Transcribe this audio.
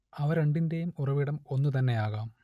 അവ രണ്ടിന്റേയും ഉറവിടം ഒന്നുതന്നെയാകാം